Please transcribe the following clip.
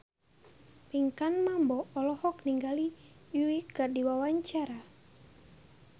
Pinkan Mambo olohok ningali Yui keur diwawancara